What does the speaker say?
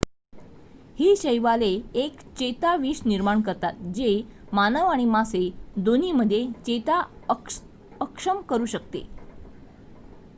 ही शैवाले एक चेताविष निर्माण करतात जे मानव आणि मासे दोन्हीमध्ये चेता अक्षम करू शकते